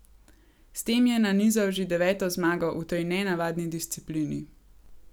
S tem je nanizal že deveto zmago v tej nenavadni disciplini.